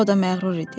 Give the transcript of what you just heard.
O da məğrur idi.